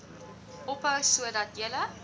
ophou sodat julle